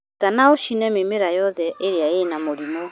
Ruta na ũcine mĩmera yothe ĩrĩ na mĩrimu.